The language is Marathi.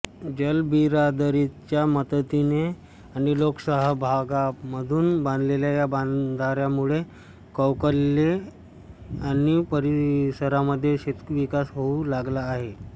जलबिरादरीच्या मदतीने आणि लोकसहभागामधून बांधलेल्या या बंधाऱ्यामुळे कौकले आणि परिसरामध्ये शेतीविकास होऊ लागला आहे